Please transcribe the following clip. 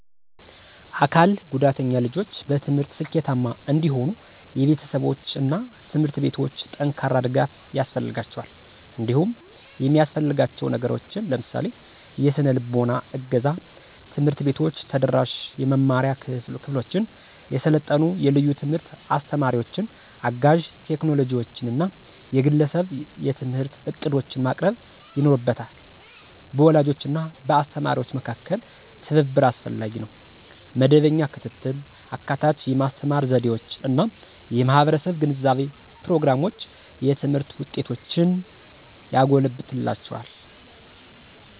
አካል ጉዳተኛ ልጆች በትምህርት ስኬታማ እንዲሆኑ የቤተሰቦች እና ትምህርት ቤቶች ጠንካራ ድጋፍ ያስፈልጋቸዋል። እንዲሁም የሚያሰፍልጋችው ነገሮችን ለምሳሌ -; የሰነልቦና እገዛ፣ ትምህርት ቤቶች ተደራሽ የመማሪያ ክፍሎችን፣ የሰለጠኑ የልዩ ትምህርት አስተማሪዎችን፣ አጋዥ ቴክኖሎጂዎችን እና የግለሰብ የትምህርት ዕቅዶችን ማቅረብ ይኖርበታ። በወላጆች እና በአስተማሪዎች መካከል ትብብር አስፈላጊ ነው. መደበኛ ክትትል፣ አካታች የማስተማር ዘዴዎች እና የማህበረሰብ ግንዛቤ ፕሮግራሞች የትምህርት ውጤቶችን ያጎለብትላቸዋል።